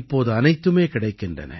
இப்போது அனைத்துமே கிடைக்கின்றன